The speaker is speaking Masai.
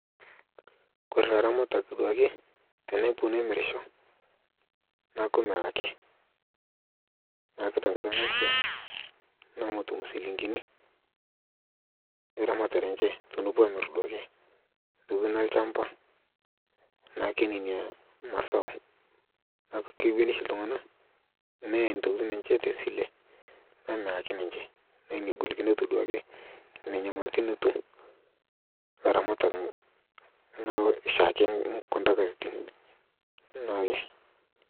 Ore taa ilaramatak duake tenepuo nemirisho neeku melaki, melaki tenkata naishiaa neeku metum inchilingini eramatare enye. Tenepuo aamirr duake intokitin olchamba naake nena masaa, keponu oshi iltung'anak neya intokitin enye tesile nemiraki ninche neku nena golikont etum iramatak naake.